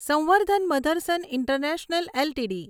સંવર્ધન Motherson International LTD